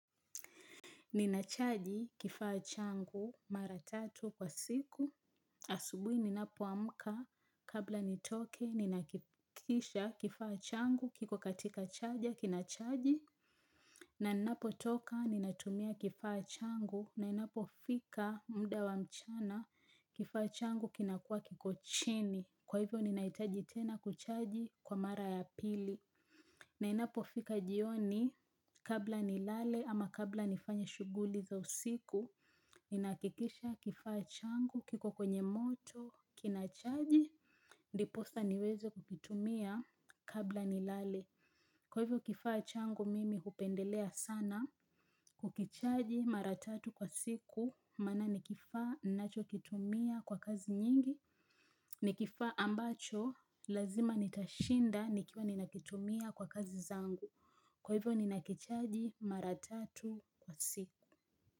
Ninachaji kifaa changu mara tatu kwa siku, asubuhi ninapoamka kabla nitoke ninahakikisha kifaa changu kiko katika chaja kinachaji na ninapotoka ninatumia kifaa changu na inapofika mda wa mchana kifaa changu kinakuwa kiko chini kwa hivyo ninahitaji tena kuchaji kwa mara ya pili. Na inapofika jioni kabla nilale ama kabla nifanye shughuli za usiku, ninahakikisha kifaa changu, kiko kwenye moto, kinachaji, ndiposa niweze kukitumia kabla nilale. Kwa hivyo kifaa changu mimi hupendelea sana kukichaji mara tatu kwa siku maana ni kifaa ninacho kitumia kwa kazi nyingi. Ni kifaa ambacho lazima nitashinda nikiwa ninakitumia kwa kazi zangu. Kwa hivyo ninakichaji mara tatu kwa siku.